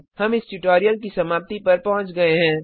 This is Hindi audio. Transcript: हम इस ट्यूटोरियल की समाप्ति पर पहुँच गए हैं